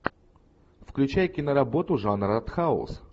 включай киноработу жанр артхаус